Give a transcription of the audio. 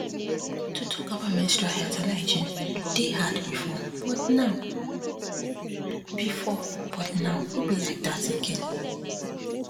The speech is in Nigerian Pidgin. to talk about menstrual health and hygiene dey hard before but now before but now no be like that again